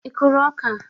Ị kụrụ ọka?